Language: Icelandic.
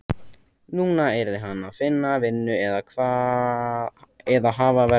Núna yrði hann að finna vinnu eða hafa verra af.